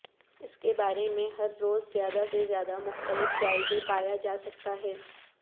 اس کے بارے میں ہر روز زیادہ سے زیادہ مختلف جائزے پایا جا سکتا ہے